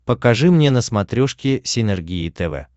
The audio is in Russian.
покажи мне на смотрешке синергия тв